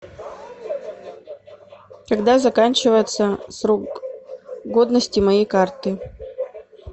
когда заканчивается срок годности моей карты